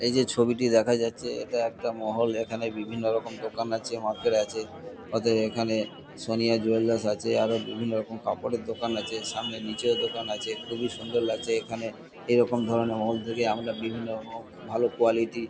এই যে ছবিটি দেখা যাচ্ছে এটা একটা মহল। এখানে বিভিন্নরকম দোকান আছে মার্কেট আছে। অতএব এখানে সোনিয়া জুয়েলার্স আছে। আরও বিভিন্নরকম কাপড়ের দোকান আছে। সামনে নীচেও দোকান আছে। খুবই সুন্দর লাগছে এখানে। এরকম ধরণের খুব ভালো কোয়ালিটি -র --